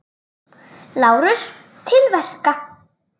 LÁRUS: Til verka!